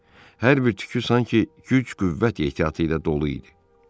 Hər bir tükü sanki güc-qüvvət ehtiyatı ilə dolu idi.